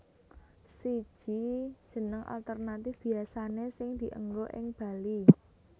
Siji Jeneng alternatif biasane sing dienggo ing Bali